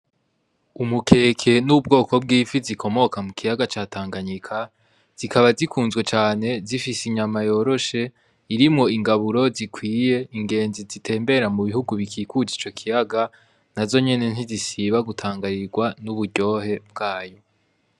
Umukeke n'ubwoko bw'ifi zikomoka mu kiyaga ca tanganyika zikaba zikunzwe cane zifise inyama yoroshe irimo ingaburo zikwiye ingenzi zitembera mu bihugu bikikujwe ico kiyaga nazo nyine nizisiba gutangarigwa nuburyohe bwayo.